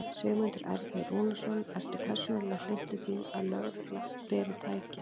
Sigmundur Ernir Rúnarsson: Ertu persónulega hlynntur því að lögreglan beri. tæki?